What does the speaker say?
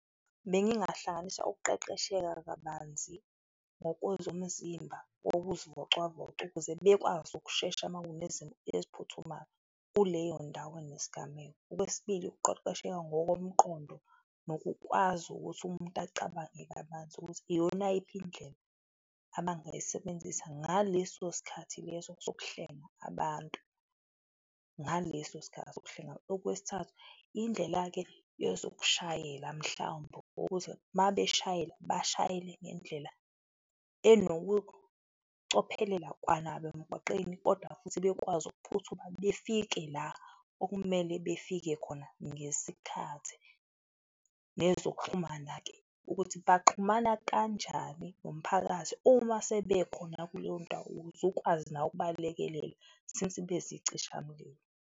Bengingahlanganisa ukuqeqesheka kabanzi ngokozomzimba wokuzivocavoca ukuze bekwazi ukushesha ma kunezimo eziphuthumayo kuleyo ndawo enesigameko. Okwesibili, ukuqeqesheka ngokomqondo nokukwazi ukuthi umuntu acabange kabanzi ukuthi iyona yiphi indlela abangayisebenzisa ngaleso sikhathi leso sokuhlenga abantu, ngaleso sikhathi sokuhlenga. Okwesithathu, indlela-ke yezokushayela mhlawumbe wokuthi ma beshayela, bashayele ngendlela enobucophelela kwanabo emgwaqeni kodwa futhi bekwazi ukuphuthuma befike la okumele befike khona ngesikhathi. Nezokuxhumana-ke, ukuthi baxhumana kanjani nomphakathi uma sebekhona kuleyondawo, ukuze ukwazi nawe ukubalekelela since be izicisha mlilo.